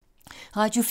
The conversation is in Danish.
Radio 4